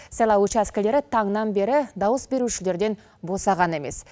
сайлау учаскілері таңнан бері дауыс берушілерден босаған емес